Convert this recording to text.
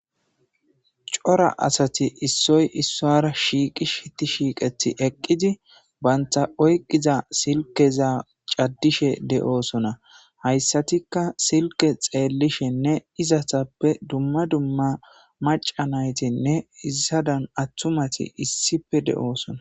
cora asati issoy issora shiiqih shiiqeti eqqidi banta oyqiza silkeza caddishe de7oosona hayssatikka silke xeellishenne izatappe dumma dumma maca naytinne izadan attumati issife de7oosona